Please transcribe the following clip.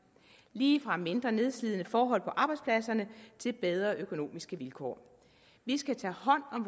lige fra mindre nedslidende forhold på arbejdspladserne til bedre økonomiske vilkår vi skal tage hånd om